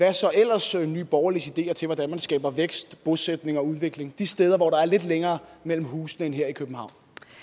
er så ellers nye borgerliges ideer til hvordan man skaber vækst bosætning og udvikling de steder hvor der er lidt længere mellem husene end her i københavn